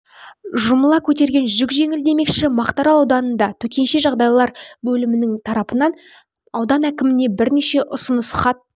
жұмыла көтерген жүк жеңіл демекші мақтарал ауданының төтенше жағдайлар бөлімі тарапынан аудан әкіміне бірнеше ұсыныс хат